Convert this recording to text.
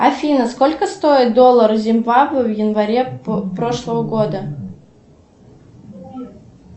афина сколько стоил доллар зимбабве в январе прошлого года